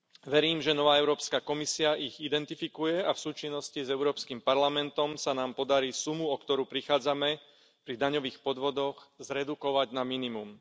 Verím, že nová Európska komisia ich identifikuje a v súčinnosti s Európskym parlamentom sa nám podarí sumu, o ktorú prichádzame pri daňových podvodoch, zredukovať na minimum.